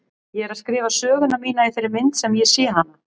Ég er að skrifa söguna mína í þeirri mynd sem ég sé hana.